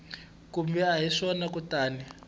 kumbe a hi swona kutani